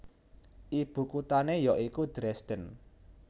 Ibukutané ya iku Dresden